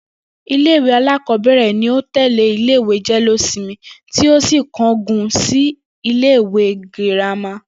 Ilé ìwé alákò̩ó̩bè̩rè̩ ni ó tè̩lé ilé ìwé jé̩lé-ósinmi tí ó sì kángun sí ilé ìwé girama